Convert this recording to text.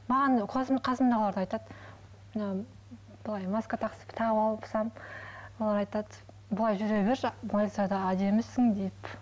маған қасымдағылар да айтады мынау былай маска тағып алсам олар айтады бұлай жүре берші әдемісің деп